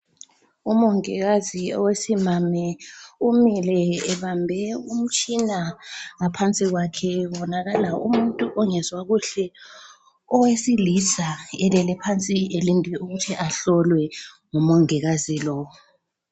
Umongikazi owesimame umile ebambe umtshina. Ngaphansi kwakhe kubonakala umuntu ongezwa kuhle owesilisa elele phansi elinde ukuthi ahlolwe ngumongikazi lo.